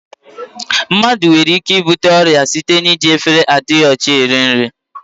Mmadụ nwere ike ibute ọrịa site n'iji efere adịghị ọcha eri nri.